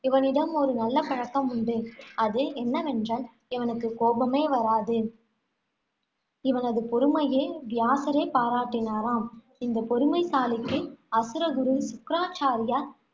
இவனிடம் ஒரு நல்ல பழக்கம் உண்டு. அது என்னவென்றால், இவனுக்கு கோபமே வராது. இவனது பொறுமையை வியாசரே பாராட்டினாராம். இந்த பொறுமைசாலிக்கு, அசுரகுரு சுக்ராச்சாரியார்